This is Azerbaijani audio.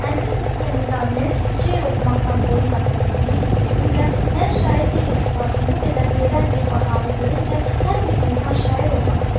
Əmirin özü də Nizaminin şeir oxumaqdan boyun qaçırdığını hiss edincə, mən şair deyiləm, lakin bu qədər gözəl bir baharı görüncə hər bir insan şair olmaq istəyir.